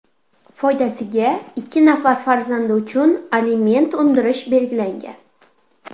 foydasiga ikki nafar farzandi uchun aliment undirish belgilangan.